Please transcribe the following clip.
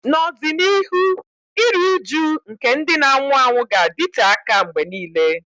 N'ọdịnihu, iru újú nke ndị na-anwụ anwụ ga-adịte aka mgbe nile.